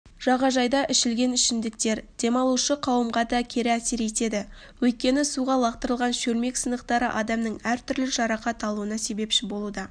жағажайда ішілген ішімдіктер демалушы қауымға да кері әсер етеді өйткені суға лақтырылған шөлмек сынықтары адамдардың әртүрлі жарақат алуына себепші болуда